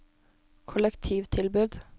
kollektivtilbud